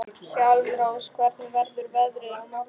Hjálmrós, hvernig verður veðrið á morgun?